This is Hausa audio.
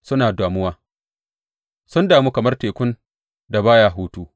Suna damuwa, sun damu kamar tekun da baya hutu.